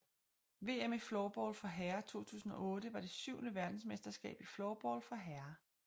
VM i floorball for herrer 2008 var det syvende verdensmesterskab i floorball for herrer